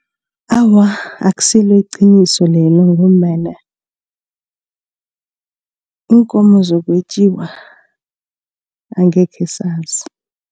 Awa, akusilo iqiniso lelo ngombana iinkomo zokwetjiwa angekhe sazi.